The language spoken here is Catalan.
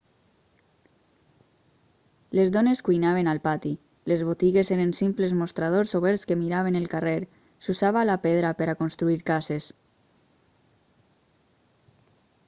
les dones cuinaven al pati les botigues eren simples mostradors oberts que miraven el carrer s'usava la pedra per a construir cases